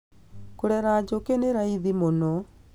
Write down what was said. Kũrera njũkĩ nĩ raithi mũno